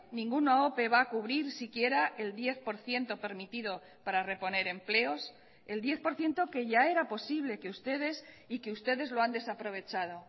ninguna ope va a cubrir si quiera el diez por ciento permitido para reponer empleos el diez por ciento que ya era posible que ustedes y que ustedes lo han desaprovechado